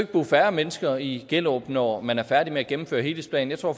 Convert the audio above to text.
bo færre mennesker i gellerup når man er færdig med at gennemføre helhedsplanen jeg tror